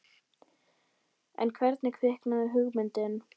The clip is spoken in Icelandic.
En hvernig kviknaði hugmyndin?